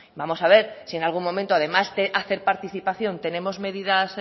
vamos a ver si en algún momento además de hacer participación tenemos medidas